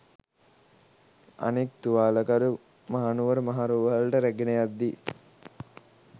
අනෙක් තුවාලකරු මහනුවර මහ රෝහලට රැගෙන යද්දී